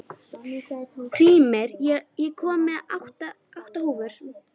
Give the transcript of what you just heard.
Hrímnir, ég kom með átta húfur!